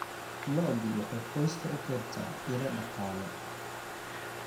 Lo'du waxay qoyska u keentaa ilo dhaqaale.